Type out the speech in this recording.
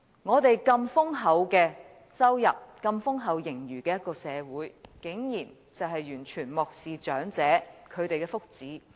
我們有如此豐厚的收入，擁有如此豐厚盈餘的社會竟然完全漠視長者的福祉。